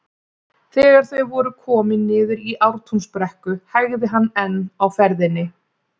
Þegar þau voru komin niður í Ártúnsbrekku hægði hann enn á ferðinni.